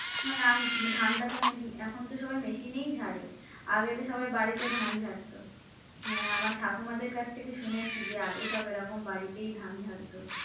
মানে ধানটা তো mainly এখন তো সবাই machine এই ঝাড়ে, আগে তো সবাই বাড়িতে ধান ঝাড়তো হ্যাঁ, আমার ঠাকুমাদের কাছ থেকে শুনেছি যে আগে সব এরকম বাড়িতেই ধান ঝাড়তো।